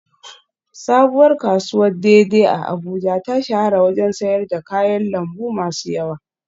Sabuwar kasuwar dei dei a Abuja ta shahara wajen sayar da kayan lambu masu yawa